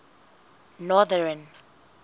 northern